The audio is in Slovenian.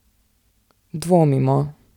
Dvomimo ...